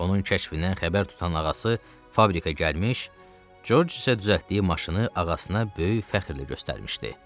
Onun kəşfindən xəbər tutan ağası fabrikə gəlmiş, George isə düzəltdiyi maşını ağasına böyük fəxrlə göstərmişdi.